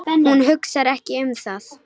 Hún hugsar ekki um það.